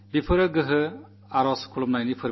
ശക്തി ഉപാസനയുടെ ആഘോഷമാണ്